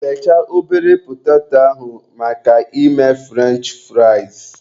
Bechaa ọbere petato maka ime furench fụraịs.